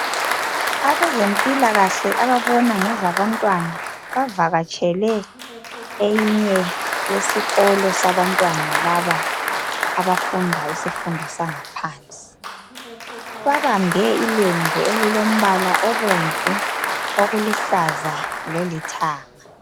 Abezempilakahle ababona ngezabantwana bavatshele eyinye yesikolo sabantwana laba abafundayo isifundo sangaphansi. Babambe ilembu elilombala obomvu, okuluhlaza lolithanga.